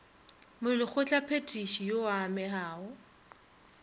molekgotla phethiši yo a amegago